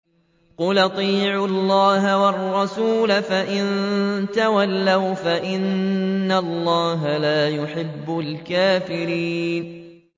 قُلْ أَطِيعُوا اللَّهَ وَالرَّسُولَ ۖ فَإِن تَوَلَّوْا فَإِنَّ اللَّهَ لَا يُحِبُّ الْكَافِرِينَ